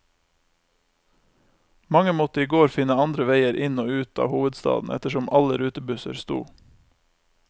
Mange måtte i går finne andre veier inn og ut av hovedstaden ettersom alle rutebusser sto.